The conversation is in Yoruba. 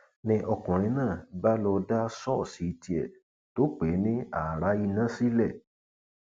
ni ọkùnrin náà bá lọọ dá ṣọọṣì tiẹ tó pè ní ààrá iná sílẹ